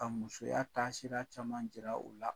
Ka musoya taasira caman jira o la.